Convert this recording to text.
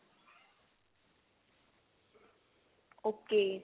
ok